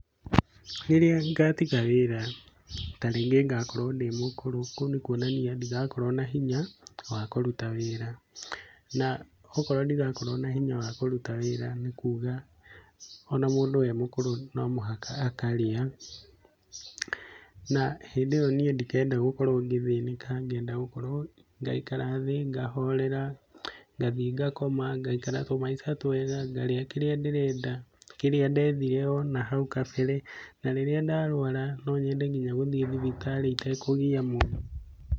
Rĩrĩa ngatiga wĩra ta rĩngĩ ngakorwo ndĩ mũkũru, kũu nĩ kũonania ndigakorwo na hinya wa kũruta wĩra. Na okorwo ndigakorwo na hinya wa kũruta wĩra nĩkuga ona mũndũ e mũkũru nomũhaka akarĩa na hĩndĩ ĩyo niĩ ndikenda gũkorwo ngĩthĩnĩka, ngenda gũkorwo ngaikara thĩ, ngahorera, ngathiĩ ngakoma, ngaikara tũmaica twega, ngarĩa kĩrĩa ndĩrenda, kĩrĩa ndethire onahau kabere na rĩrĩa ndarwara, no nyende nginya gũthiĩ thibitari itekũgia mũndũ.